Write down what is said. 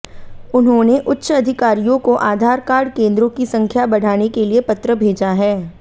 उन्होंने उच्च अधिकारियों को आधार कार्ड केंद्रों की संख्या बढ़ाने के लिए पत्र भेजा है